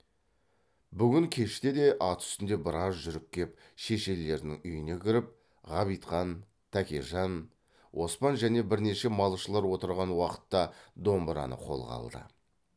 бүгін кеште де ат үстінде біраз жүріп кеп шешелерінің үйіне кіріп ғабитхан тәкежан оспан және бірнеше малшылар отырған уақытта домбыраны қолға алды